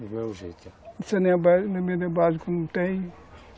jeito básico, não tem.